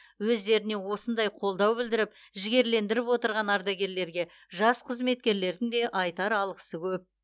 өздеріне осындай қолдау білдіріп жігерлендіріп отырған ардагерлерге жас қызметкерлердің де айтар алғысы көп